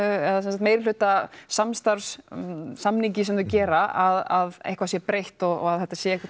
eða meirihluta samstarfssamningi sem þau gera að eitthvað sé breytt og að þetta sé